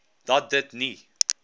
dat dit nie